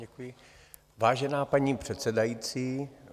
Děkuji, vážená paní předsedající.